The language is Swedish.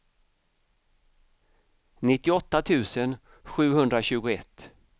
nittioåtta tusen sjuhundratjugoett